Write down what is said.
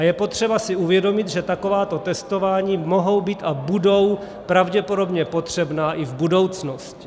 A je potřeba si uvědomit, že takováto testování mohou být a budou pravděpodobně potřebná i v budoucnosti.